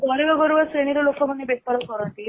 ଯୋଉ ଗରିବ ଗରିବ ଶ୍ରେଣୀ ର ଲୋକମାନେ ବେପାର କରନ୍ତି